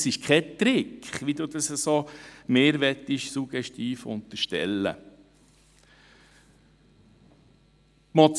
Das ist kein Trick, wie Sie mir das suggestiv unterstellen wollen.